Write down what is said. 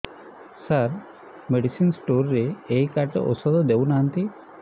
ସାର medicine store ରେ ଏଇ card ରେ ଔଷଧ ଦଉନାହାନ୍ତି